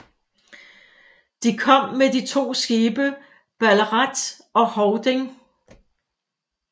De kom med de to skibe Ballarat og Hovding